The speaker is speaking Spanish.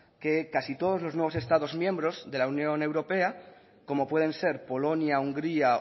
que casi todos los nuevos estados miembros de la unión europea como pueden ser polonia hungría